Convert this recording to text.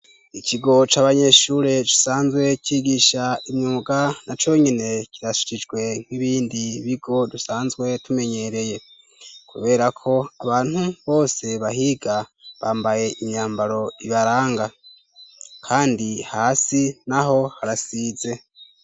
Ikigo c'abanyeshure gisanzwe cigisha imyuga ,na conyene kirasharijwe nk'ibindi bigo dusanzwe tumenyereye ,kuberako abantu bose bahiga bambaye imyambaro ibaranga kandi hasi naho harasize.